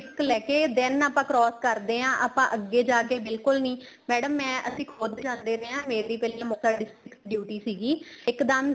risk ਲੈਕੇ then ਆਪਾਂ cross ਕਰਦੇ ਆ ਆਪਾਂ ਜਾਕੇ ਬਿਲਕੁਲ ਨਹੀਂ madam ਮੈਂ ਅਸੀਂ ਖੁੱਦ ਜਾਂਦੇ ਰਹੇ ਆ ਮੈਰੀ ਪਹਿਲਾਂ ਮੁਕਤਸਰ duty ਸੀਗੀ ਇੱਕ ਦਮ